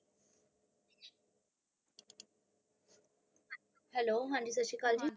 hello ਹਾਨੀ ਸਾਸਰੀਕਾਲ ਜੀ